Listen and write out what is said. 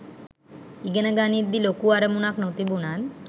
ඉගෙන ගනිද්දි ලොකු අරමුණක් නොතිබුණත්